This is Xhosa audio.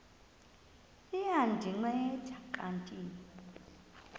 liya ndinceda kanti